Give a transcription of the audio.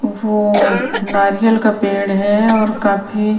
ओहो नारियल का पेड़ हैं और काफी --